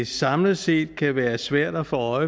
samlet set kan være svært at få